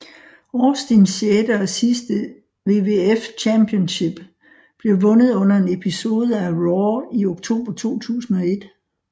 Austins sjette og sidste WWF Championship blev vundet under en episode af RAW i oktober 2001